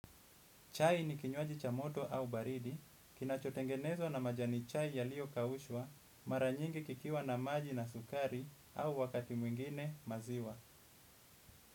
Chai ni kinywaji cha moto au baridi, kinachotengenezwa na majani chai yaliyo kaushwa, mara nyingi kikiwa na maji na sukari au wakati mwingine maziwa.